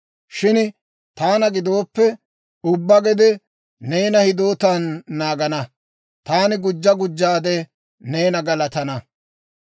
Shin taana gidooppe, ubbaa gede neena hidootan naagana. Taani gujja gujjaade neena galatana.